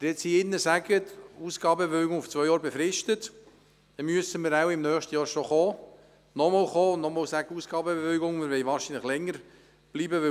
Wenn Sie jetzt beschliessen, die Ausgabenbewilligung auf zwei Jahre zu befristen, müssen wir im nächsten Jahr nochmals mit diesem Geschäft in den Rat kommen, wenn wir länger bleiben wollen.